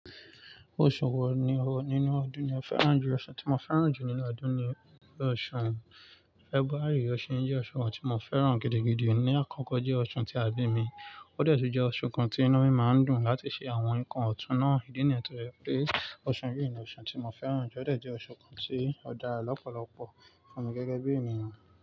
Oṣù wo ni o nínú ọdún ni o fẹ́ràn jù? Oṣù tí mo fẹ́ràn jù nínú ọdún ni oṣù February, oṣu yii je oṣù kan tí mo fẹ́ràn gidigidi. Ní àkọ́kọ́ jẹ́ oṣù tí àbí mi, óde tun jẹ oṣù kan tí inu mi máa ń dùn láti ṣe àwọn nnkan ọ̀tún náà. Ìdí nìyẹn tó jẹ́ pé oṣù yìí ni oṣù tí mo fẹ́ràn jù ó dàbí jẹ́ oṣù kan tí ó dára lọ́pọ̀lọpọ̀ fún mi gẹ́gẹ́ bí ènìyàn.